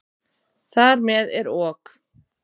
Þar með er OK!